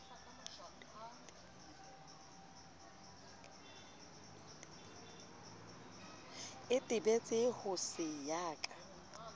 itebetse ho se ya ka